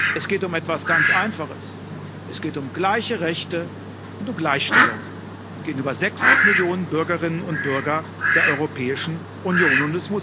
Es geht um etwas ganz Einfaches Es geht um gleiche Rechte und Gleichstellung gegenüber sechs Millionen Bürgerinnen und Bürgern der Europäischen Union.